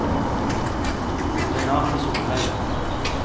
Renate Solhaug